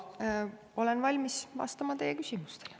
Olen valmis vastama teie küsimustele.